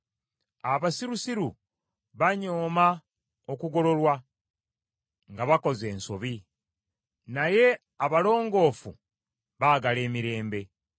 Abasirusiru banyooma okugololwa nga bakoze ensobi, naye abalongoofu baagala emirembe.